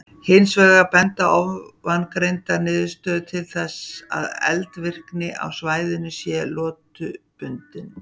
Hins vegar benda ofangreindar niðurstöður til þess að eldvirkni á svæðinu sé lotubundin.